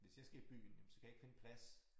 Hvis jeg skal i byen jamen så kan jeg ikke finde plads